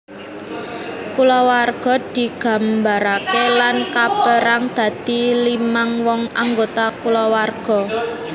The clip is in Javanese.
Kulawarga digambaraké lan kapérang dadi limang wong anggota kulawarga